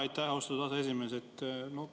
Aitäh, austatud aseesimees!